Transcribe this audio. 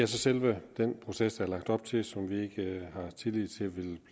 selve den proces der er lagt op til som vi ikke har tillid til vil